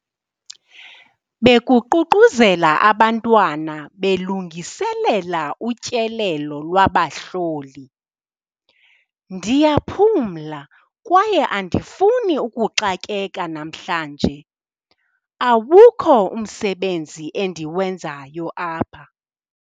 Bekuququzela abantwana belungiselela utyelelo lwabahloli. ndiyaphumla kwaye andifuni ukuxakeka namhlanje, awukho umsebenzi endiwenzayo apha